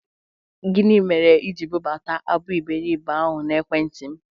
Gini mere ị ji bụbata abụ Iberibe ahụ n'Ekwentị m?